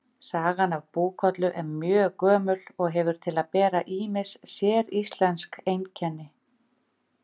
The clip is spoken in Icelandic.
Sagan af Búkollu er mjög gömul og hefur til að bera ýmis séríslensk einkenni.